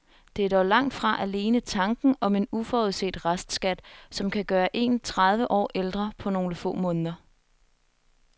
Det er dog langt fra alene tanken om en uforudset restskat, som kan gøre en tredive år ældre på nogle få måneder.